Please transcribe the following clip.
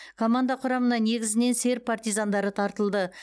команда құрамына негізінен серб партизандары тартылды